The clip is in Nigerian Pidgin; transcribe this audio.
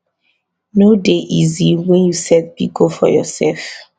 no dey easy wen you set big goal for yoursef